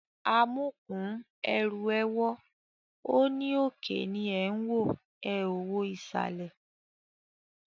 Amúkùn-ún ẹrù ẹ wọ́, ó ní òkè ni ẹ̀ ń wò, ẹ ò wo ìsàlẹ̀